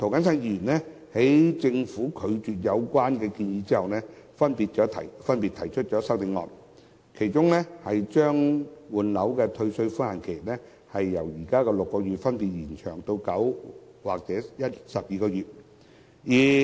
在政府拒絕有關建議後，周浩鼎議員及涂謹申議員分別提出修正案，把換樓的退稅寬限期由現時的6個月，分別延長至9個月或12個月。